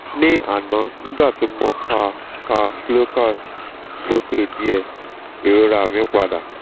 ní àná nígbà tí mo ka ka slokas sókè díẹ̀ ìrora mi padà